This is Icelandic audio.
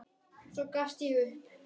Svo gafst ég upp.